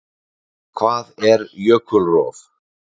Hvað er jökulrof?